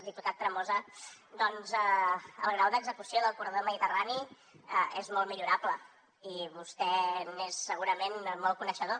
diputat tremosa doncs el grau d’execució del corredor mediterrani és molt millorable i vostè n’és segurament molt coneixedor